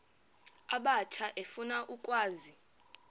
abatsha efuna ukwazi